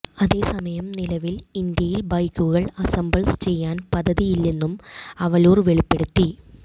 അതേസമയം നിലവിൽ ഇന്ത്യയിൽ ബൈക്കുകൾ അസംബ്ൾ ചെയ്യാൻ പദ്ധതിയില്ലെന്നും അവലുർ വെളിപ്പെടുത്തി